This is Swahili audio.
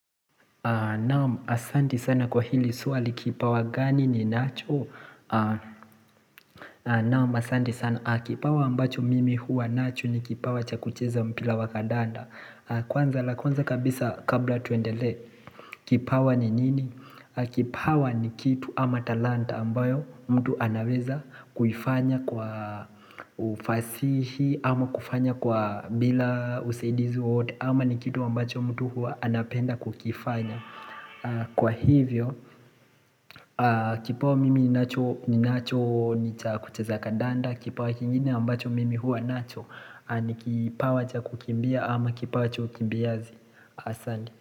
Naam asanti sana kwa hili swali kipawa gani ni nacho Naam asanti sana kipawa ambacho mimi huwa nacho ni kipawa chakucheza mpira wakadanda Kwanza la kwanza kabisa kabla tuendelee Kipawa ni nini? Kipawa ni kitu ama talanta ambayo mtu anaweza kufanya kwa ufasihi ama kufanya kwa bila usaidizi wowote ama ni kitu ambacho mtu huwa anapenda kukifanya Kwa hivyo, kipawa mimi ni nacho ni kucheza ka danda Kipawa kingine ambacho mimi hua nacho ni kipawa cha kukimbia ama kipawa cha ukimbiazi Asanti.